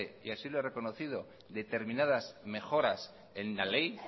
y así lo he reconocido determinadas mejoras en la ley